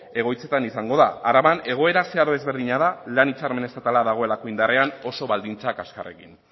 egoitzetan izango da araban egoera zeharo ezberdina izango da lan hitzarmen estatala dagoelako indarrean oso baldintza kaskarrekin